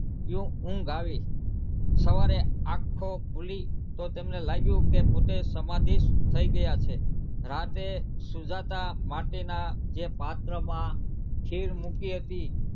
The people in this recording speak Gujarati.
યો ઊંઘ આવી સવારે આંખો ખુલી તો તેમને લાગ્યું કે પોતે સમાધીશ થઇ ગયાં છે રાતે સુજાતા માટીનાં જે પાત્રમાં ખીર મૂકી હતી.